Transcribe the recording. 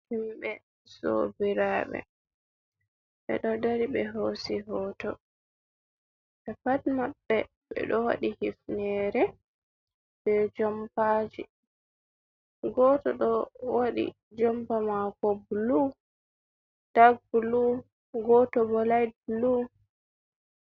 Himɓe sobiraaɓe. Ɓe ɗo dari ɓe hoosi hoto, ɓe pat maɓɓe ɓe ɗo waɗi hifnere, be jompaji, gooto ɗo waɗi jompa maako bulu dak bulu, goto bo layt bulu.